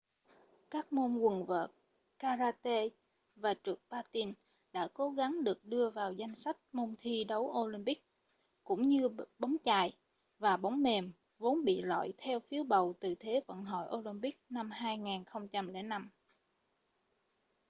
các môn quần vợt karate và trượt patin đã cố gắng được đưa vào danh sách môn thi đấu olympic cũng như bóng chày và bóng mềm vốn bị loại theo phiếu bầu từ thế vận hội olympic năm 2005